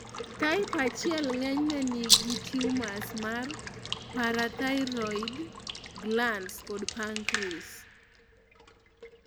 Type 1 ng'enyne nigi tumors mar parathyroid glands kod pancreas